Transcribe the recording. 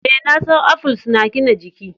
Eh, na san apples na gina jiki.